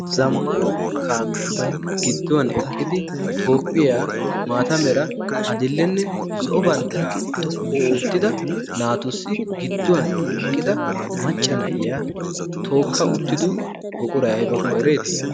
zammana kaamiyaasi gidduwan eqqidi toophphiyaa maata meera adillenne zo'o banddiraa xoqqu oottida naatussi gidduwan eqqida macca na'iya tookka uttido boqurai aybakko ereetii?